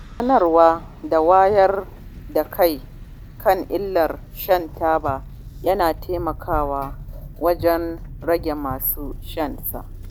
Sanarwa da wayar da kai kan illar shan taba yana taimakawa rage masu shanta.